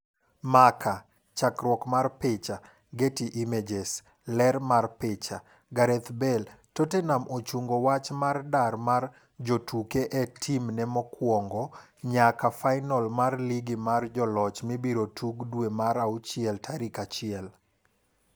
(Marca) Chakruok mar picha, Getty Images. Ler mar picha, Gareth Bale Tottenham ochungo wach mar dar mar jotuke e timne mokwongo nyaka fainol mar lig mar joloch mibiro tugi dwe mar auchiel tarik achiel.